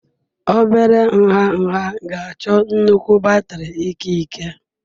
Obere nha nha ga-achọ nnukwu batrị ikike.